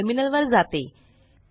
मी terminal वर जाते